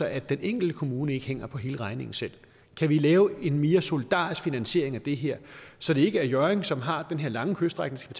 at den enkelte kommune ikke hænger på hele regningen selv kan vi lave en mere solidarisk finansiering af det her så det ikke er hjørring kommune som har den her lange kyststrækning